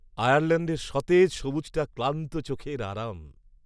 আয়ারল্যাণ্ডের সতেজ সবুজটা ক্লান্ত চোখের আরাম।